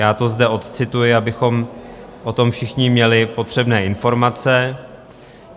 Já to zde odcituji, abychom o tom všichni měli potřebné informace.